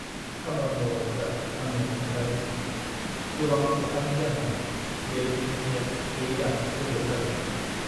खामानि मावग्राफोरा आंनो खोन्थादों दि, गोबां अखानि जाहोनाव बे बिथांखिया 4 दान गोबाव जागोन।